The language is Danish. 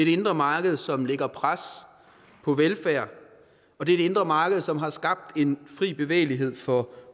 indre marked som lægger pres på velfærd og det er det indre marked som har skabt en fri bevægelighed for